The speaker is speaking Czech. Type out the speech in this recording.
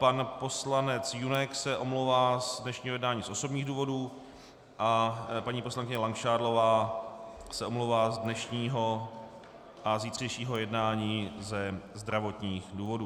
Pan poslanec Junek se omlouvá z dnešního jednání z osobních důvodů a paní poslankyně Langšádlová se omlouvá z dnešního a zítřejšího jednání ze zdravotních důvodů.